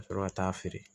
Ka sɔrɔ ka taa feere